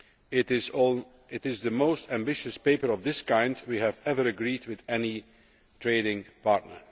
It is the most ambitious paper of this kind that we have ever agreed with any trading partner.